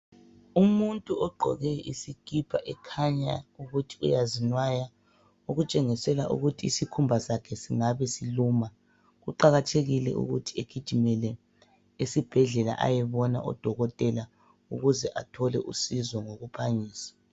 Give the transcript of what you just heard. Umuntu ogqoke isikipa ekhanya ukuthi uyazinwaya. Okutshengisela ukuthi isikhumba sakhe singabe siluma. Kuqakathekile ukuthi egijimele esibhedlela ayebona odokotela ayethola usizo ngokuphangisa.